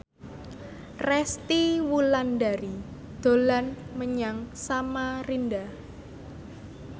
Resty Wulandari dolan menyang Samarinda